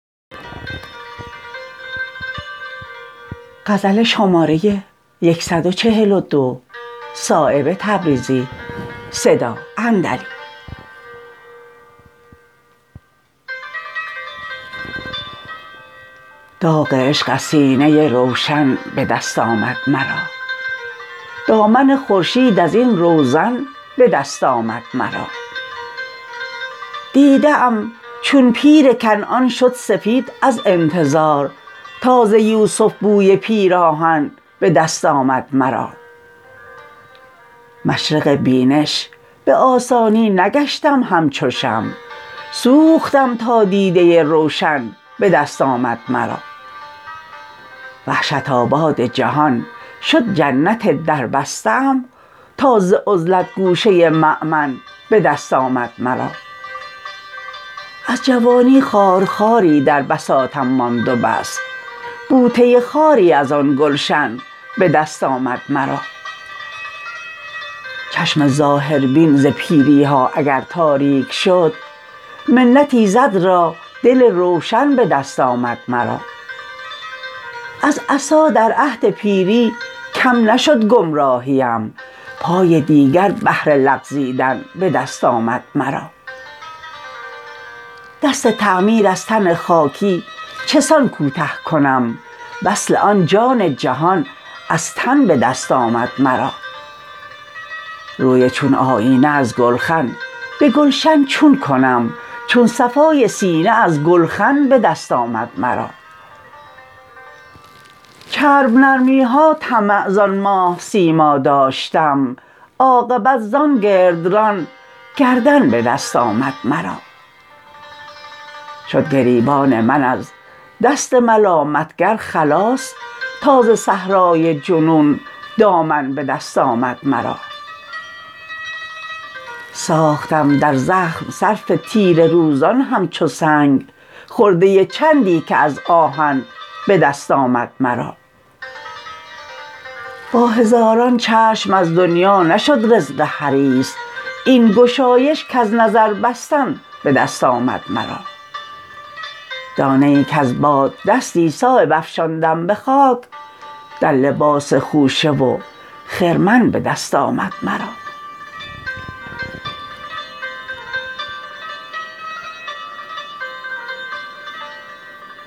داغ عشق از سینه روشن به دست آمد مرا دامن خورشید ازین روزن به دست آمد مرا دیده ام چون پیر کنعان شد سفید از انتظار تا ز یوسف بوی پیراهن به دست آمد مرا مشرق بینش به آسانی نگشتم همچو شمع سوختم تا دیده روشن به دست آمد مرا وحشت آباد جهان شد جنت در بسته ام تا ز عزلت گوشه مأمن به دست آمد مرا از جوانی خارخاری در بساطم ماند و بس بوته خاری ازان گلشن به دست آمد مرا چشم ظاهربین ز پیری ها اگر تاریک شد منت ایزد را دل روشن به دست آمد مرا از عصا در عهد پیری کم نشد گمراهیم پای دیگر بهر لغزیدن به دست آمد مرا دست تعمیر از تن خاکی چسان کوته کنم وصل آن جان جهان از تن به دست آمد مرا روی چون آیینه از گلخن به گلشن چون کنم چون صفای سینه از گلخن به دست آمد مرا چرب نرمی ها طمع زان ماه سیما داشتم عاقبت زان گردران گردن به دست آمد مرا شد گریبان من از دست ملامتگر خلاص تا ز صحرای جنون دامن به دست آمد مرا ساختم در زخم صرف تیره روزان همچو سنگ خرده چندی که از آهن به دست آمد مرا با هزاران چشم از دنیا نشد رزق حریص این گشایش کز نظر بستن به دست آمد مرا دانه ای کز باد دستی صایب افشاندم به خاک در لباس خوشه و خرمن به دست آمد مرا